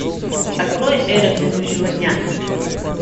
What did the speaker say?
открой эра грядущего дня